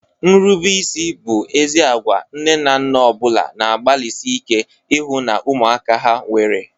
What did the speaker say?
Nrubeisi bụ ezi agwa nne na nna ọ bụla na-agbalịsị ike ịhụ na ụmụaka ha nwere.